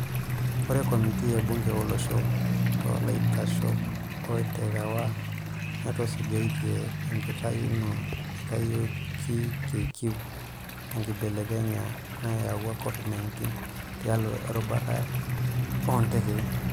Ore komitii e bunge olosho to laiteshok oterewa netusujatia enkitayuno naitayioki KQ tenkibelekenya nayaua Covid-19 tialo erubata o ntekei.